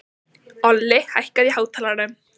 Olli, hækkaðu í hátalaranum.